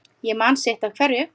Ég man sitt af hverju